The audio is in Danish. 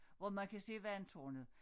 Hvor man kan se vandtårnet